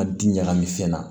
A di ɲagami fɛn na